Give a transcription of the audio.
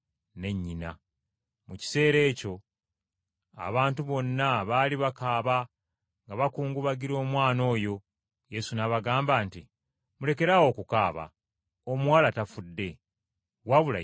Mu kiseera ekyo abantu bonna baali bakaaba nga bakungubagira omwana oyo. Yesu n’abagamba nti, “Mulekeraawo okukaaba! Omuwala tafudde wabula yeebase bwebasi!”